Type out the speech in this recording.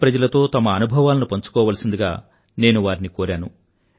దేశప్రజలతో తమ అనుభవాలను పంచుకోవాల్సిందిగా నేను వారిని కోరాను